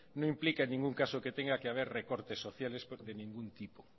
no implica en ningún caso que tenga que haber recortes sociales de ningún tipo